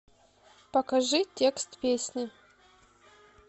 покажи текст песни